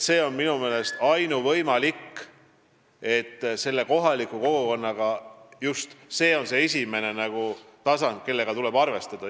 See on minu meelest ainuvõimalik ja just kohalik kogukond on esimene tasand, kellega tuleb arvestada.